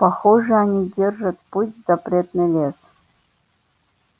похоже они держат путь в запретный лес